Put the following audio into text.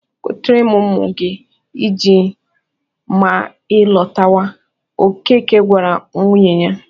"Gotere ụmụ gị ji ma ị lọtawa," Okeke gwara nwunye ya